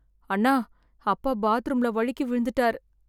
அண்ணா, அப்பா பாத்ரூம்ல வழுக்கி விழுந்துட்டார்.